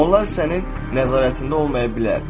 Onlar sənin nəzarətində olmaya bilər.